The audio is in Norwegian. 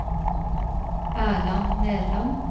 Erland Nerland